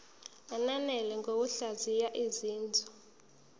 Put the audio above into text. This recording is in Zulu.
ananele ngokuhlaziya izinzwa